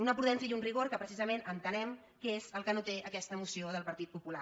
una prudència i un rigor que precisament ente·nem que és el que no té aquesta moció del partit popu·lar